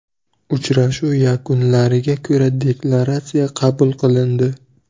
Uchrashuv yakunlariga ko‘ra deklaratsiya qabul qilindi.